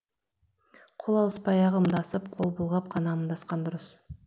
қол алыспай ақ ымдасып қол бұлғап қана амандасқан дұрыс